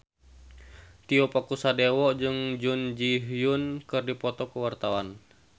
Tio Pakusadewo jeung Jun Ji Hyun keur dipoto ku wartawan